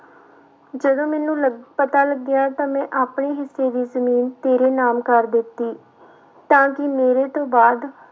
ਜਦੋਂ ਮੈਨੂੰ ਲ ਪਤਾ ਲੱਗਿਆ ਤਾਂ ਮੈਂ ਆਪਣੇ ਹਿੱਸੇ ਦੀ ਜ਼ਮੀਨ ਤੇਰੇ ਨਾਮ ਕਰ ਦਿੱਤੀ ਤਾਂ ਕਿ ਮੇਰੇ ਤੋਂ ਬਾਅਦ